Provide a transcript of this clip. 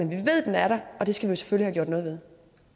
ved at den er der og det skal vi selvfølgelig have gjort noget ved